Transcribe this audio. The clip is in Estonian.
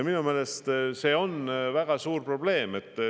Minu meelest see on väga suur probleem.